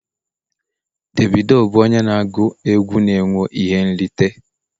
Davido bụ onye na-agụ egwu na-enweta ihe nrite